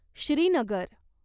Srinagar